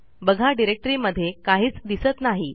बघा डिरेक्टरीमध्ये काहीच दिसत नाही